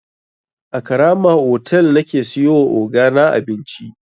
A karama otal nake siyowa ogana abinci.